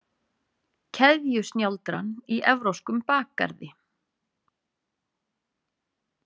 Keðjusnjáldran í evrópskum bakgarði.